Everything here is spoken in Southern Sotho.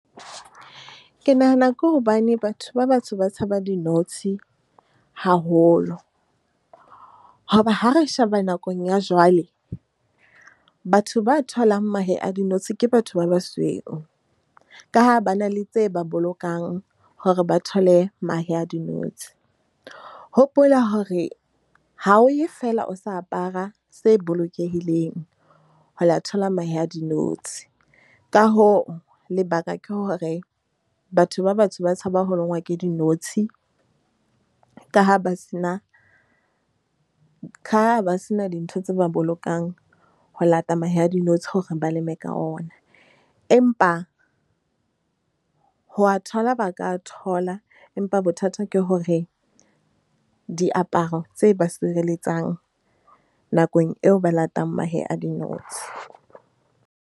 Ke nahana ke hobane batho ba batsho ba tshaba dinotshi haholo, hoba ha re sheba nakong ya jwale batho ba tholang mahe a dinotshi ke batho ba basweu. Ka ha ba na le tse ba bolokang hore ba thole mahe a dinotshi. Hopola hore ha o ye feela o sa apara se bolokehileng ho la thola. Mahe a dinotshi ka hoo lebaka ke hore batho ba batsho ba tshabang ho longwa ke dinotshi, ka ha ba se na ka ba sena dintho tse ba bolokang ho lata mahe a dinotshi hore ba leme ka ona. Empa ho wa thola ba ka thola, empa bothata ke hore diaparo tse ba sireletsang nakong eo ba latang mahe a dinotshi.